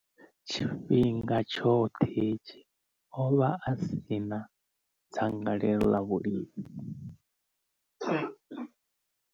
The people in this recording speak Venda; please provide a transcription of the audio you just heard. Tshifhinga tshoṱhe hetshi, o vha a si na dzangalelo ḽa vhulimi.